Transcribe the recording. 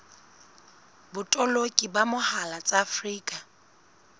botoloki ka mohala tsa afrika